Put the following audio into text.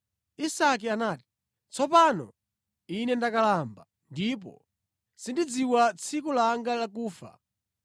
Isake anati, “Tsopano ine ndakalamba, ndipo sindidziwa tsiku langa lakufa.